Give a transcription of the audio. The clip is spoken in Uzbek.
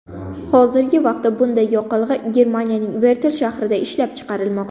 Hozirgi vaqtda bunday yoqilg‘i Germaniyaning Vertl shahrida ishlab chiqarilmoqda.